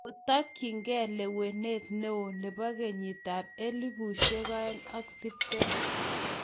Kotokyigei lewenet ne o nebo kenyitab 2020?